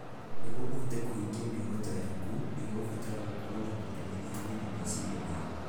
Nĩguo ũhote kũhingia mĩoroto yaku, nĩ ũkũbatara gũkorũo na mwĩrĩ wĩna hinya na meciria mega.